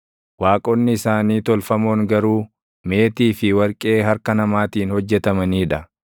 Waaqonni isaanii tolfamoon garuu meetii fi warqee harka namaatiin hojjetamanii dha.